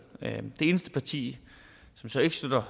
det eneste parti som så ikke støtter